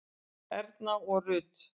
Erna og Rut.